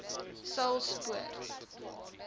saulspoort